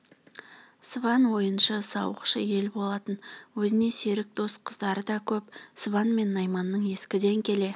сыбан ойыншы сауықшы ел болатын өзіне серік дос қыздары да көп сыбан мен найманның ескіден келе